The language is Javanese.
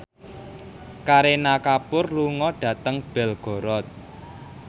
Kareena Kapoor lunga dhateng Belgorod